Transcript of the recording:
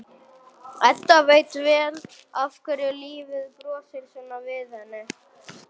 Edda veit vel af hverju lífið brosir svona við henni.